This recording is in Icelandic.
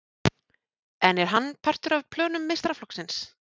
En er hann partur af plönum meistaraflokksins?